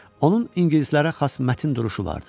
Onun ingilislərə xas mətin duruşu vardı.